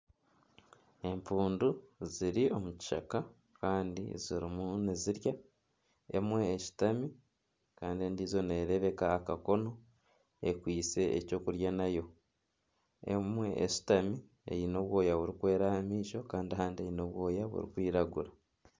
Empundu ziri omu kishaka kandi zirimu nizirya , emwe eshutami kandi endijo nerebekaho akakono ekwaitse ekyokurya nayo. Emwe eshutami eine obwooya burikwera aha maisho kandi ahandi eine obwooya burikwiragura.